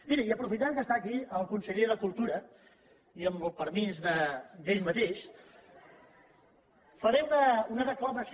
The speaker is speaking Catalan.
miri i aprofitant que està aquí el conseller de cultura i amb el permís d’ell mateix faré una declamació